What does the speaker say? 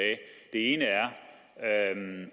ene